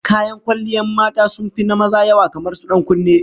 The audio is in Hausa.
Kayan kwalliyan mata sun fi na maza yawa, kamar su dan kunne